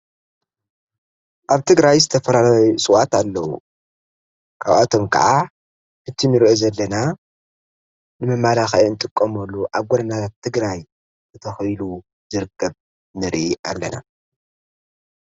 ኣብ ትግራይ ዝተፈላለዩ ሥዋት ኣለዉ ካብኣቶም ከዓ ፍትምር ዘለና ንመማላኻየን ጥቆምሉ ኣብ ጐደናታት ትግራይ እተኸሉ ዘርቅብ ንሪ ኣለና።